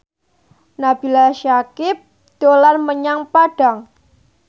Nabila Syakieb dolan menyang Padang